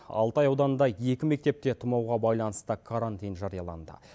алтай ауданында екі мектепте тұмауға байланысты карантин жарияланды